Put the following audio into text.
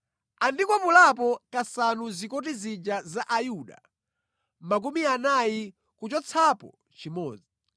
Andikwapulapo kasanu zikoti zija za Ayuda, makumi anayi kuchotsapo chimodzi.